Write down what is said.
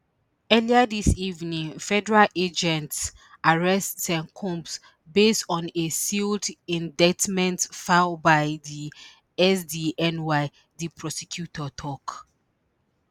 earlier dis evening federal agents arrest sean combs based on a sealed indictment filed by di sdny di prosecutor tok